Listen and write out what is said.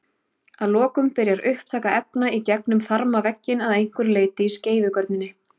Að lokum byrjar upptaka efna í gegnum þarmavegginn að einhverju leyti í skeifugörninni.